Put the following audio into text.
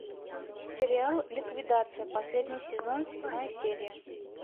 сериал ликвидация последний сезон седьмая серия